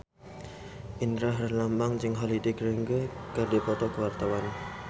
Indra Herlambang jeung Holliday Grainger keur dipoto ku wartawan